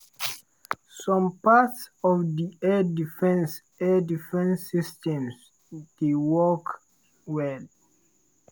some parts of di air defence air defence systems dey work well.